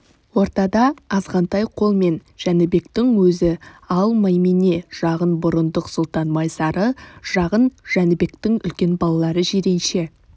ортада азғантай қолмен жәнібектің өзі ал маймене жағын бұрындық сұлтан майсары жағын жәнібектің үлкен балалары жиренше